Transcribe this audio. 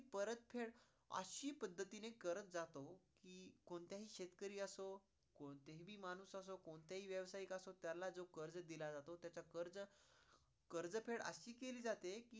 परत फेड अशी पद्धतींनी करत जातो कि कोणताही शेतकरी असो, कोणताही माणूस असो, कोणताही व्यवसायिक असो त्याला जो कर्ज दिला जातो त्याचा कर्ज फेड अशी केली जाती